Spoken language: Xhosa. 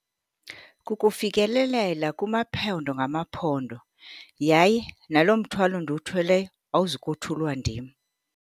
Kukufikelelela kumaphondo ngamaphondo yaye naloo mthwalo ndiwuthweleyo awuzukuthulwa ndim.